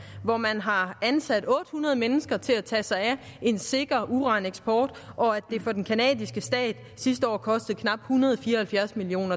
hvor man har ansat otte hundrede mennesker til at tage sig af en sikker uraneksport og at det for den canadiske stat sidste år kostede knap en hundrede og fire og halvfjerds million